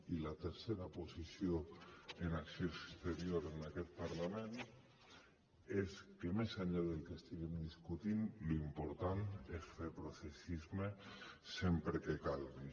i la tercera posició en acció exterior en aquest parlament és que més enllà del que estiguem discutint l’important és fer processisme sempre que calgui